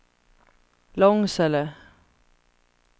Långsele